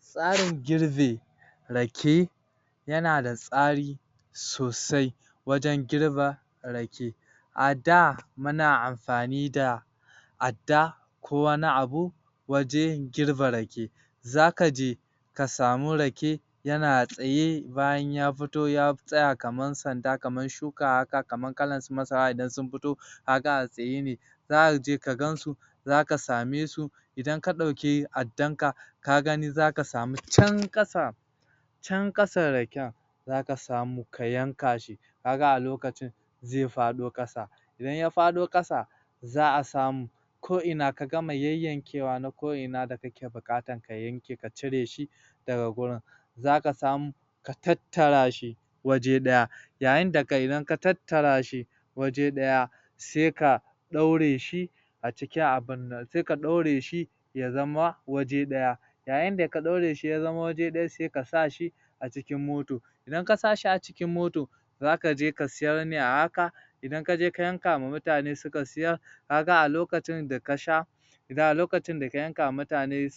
Tsarin girbe rake yana da tsari sosai wajen girbe rake a da muna amfani fa adda ko wani abu wajen girbe rake zaka je ka samu rake yana tsaye bayan ya fito ya tsaya kaman sanda kaman shuka haka kaman kalan su masara idan sun fito kaga a tsaye ne zaka je ka gansu zaka same su idan ka ɗauki addan ka ka gani zaka samu can ƙasa can ƙasan raken zaka samu ka yanka shi kaga a lokacin zai faɗo ƙasa idan ya faɗo ƙasa za a samu ko ina ka gama yayyankewa na ko ina da kake buƙatan ka yanke ka cire shi daga gurin zaka samu ka tattara shi waje ɗaya yayin da kenan ka tattara shi waje ɗaya sai ka ɗaure shi a cikin abun sai ka ɗaure shi ya zama waje ɗaya yayin da ka ɗaure shi ya zama waje ɗaya sai ka sa shi a cikin moto idan ka sa shi a cikin moto za kaje ka sayar ne a haka idan kaje ka yanka wa mutane suka siyar kaga a lokacin da ka sha lokacin da ka yanka wa mutane